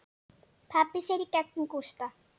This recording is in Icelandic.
Pabbi sér í gegnum Gústa.